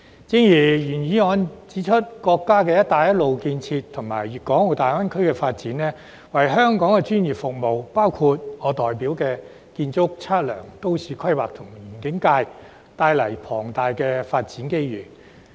正如原議案指出，國家"一帶一路"建設和粵港澳大灣區發展，為香港專業服務業，包括我代表的建築、測量、都市規劃及園境界，帶來龐大的發展機遇。